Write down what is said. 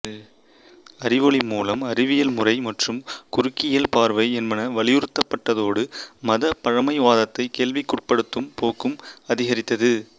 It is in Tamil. அறிவொளி மூலம் அறிவியல் முறை மற்றும் குறுக்கியல் பார்வை என்பன வலியுறுத்தப்பட்டதோடு மதப் பழமைவாதத்தை கேள்விக்குட்படுத்தும் போக்கும் அதிகரித்தது